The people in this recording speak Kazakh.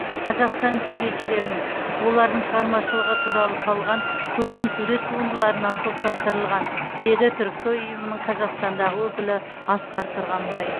қазақстан суретшілерінің олардың шығармашылығы туралы салған көркемсурет туындыларынан топтастырылған деді түрксой ұйымының қазақстандағы өкілі асқар тұрғанбай